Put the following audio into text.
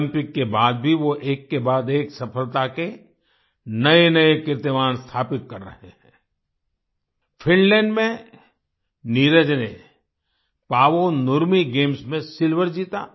Olympic के बाद भी वो एक के बाद एक सफलता के नएनए कीर्तिमान स्थापित कर रहें हैं आई फिनलैंड में नीरज ने पावो नुरमी गेम्स में सिल्वर जीता